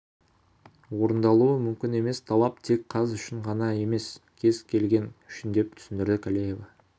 орындалуы мүмкін емес талап тек қаз үшін ғана емес кез келген үшін деп түсіндірді калеева